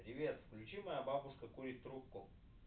привет включи моя бабушка курит трубку